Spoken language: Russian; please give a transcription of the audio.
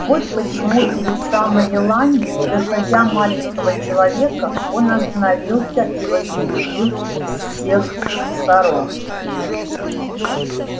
вот почему перед самой еланью не доходя маленького человека он остановился и возбудил всех сорок